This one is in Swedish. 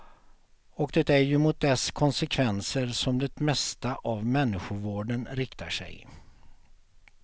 Och det är ju mot dess konsekvenser som det mesta av människovården riktar sig.